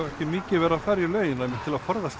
ekki mikið verið að fara í laugina til að forðast